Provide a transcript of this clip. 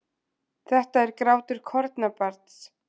Þetta er grátur kornabarns.